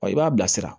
i b'a bilasira